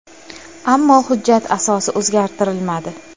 Ammo hujjat asosi o‘zgartirilmadi.